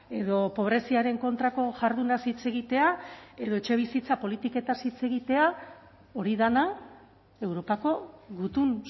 edo pobreziaren kontrako jardunaz hitz egitea edo etxebizitza politikez hitz egitea hori dena europako gutun